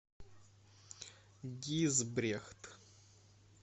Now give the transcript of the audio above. гизбрехт